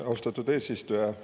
Austatud eesistuja!